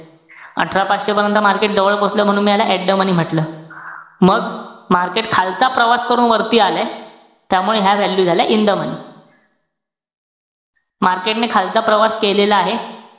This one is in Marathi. अठरा पाचशे पर्यंत market जवळ पोचलंय म्हणून मी याला at the money म्हंटल. मग, market खालचा प्रवास करून वरती आलंय. त्यामुळे ह्या value झाल्या in the money. market ने खालचा प्रवास केलेला आहे.